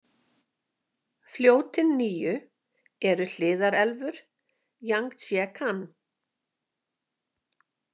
Fljótin níu eru hliðarelfur Jangtsekíang .